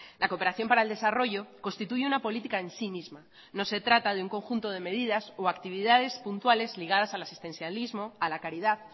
la cooperación para el desarrollo constituye una política en sí misma no se trata de un conjunto de medidas o actividades puntuales ligadas al asistencialismo a la caridad